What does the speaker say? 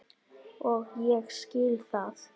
Og ég skil það.